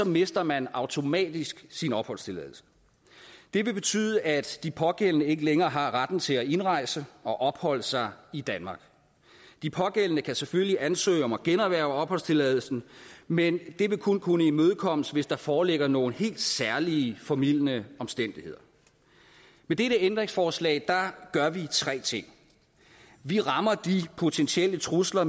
mister man automatisk sin opholdstilladelse det vil betyde at de pågældende ikke længere har retten til at indrejse og opholde sig i danmark de pågældende kan selvfølgelig ansøge om at generhverve opholdstilladelsen men det vil kun kunne imødekommes hvis der foreligger nogle helt særlige formildende omstændigheder med dette ændringsforslag gør vi tre ting vi rammer de potentielle trusler